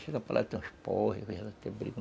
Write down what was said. Chega para lá, tem uns porre, tem briga.